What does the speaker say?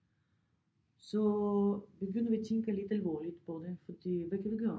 Så begynder vi at tænke lidt alvorligt på det fordi hvad kan vi gøre?